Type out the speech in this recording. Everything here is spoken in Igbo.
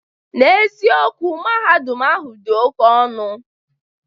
N'eziokwu, Mahadum ahụ dị oke ọnụ.